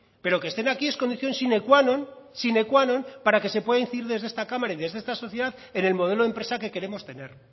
pero que estén aquí es condición sine qua non para que se puede incidir desde esta cámara y desde esta sociedad en el modelo de empresa que queremos tener